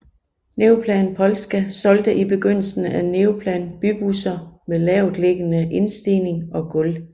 Neoplan Polska solgte i begyndelsen Neoplan bybusser med lavtliggende indstigning og gulv